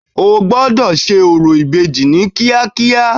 O gbọ́dọ̀ ṣe orò ìbejì ní kíákíá.